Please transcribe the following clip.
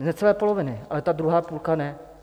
Z necelé poloviny, ale ta druhá půlka ne.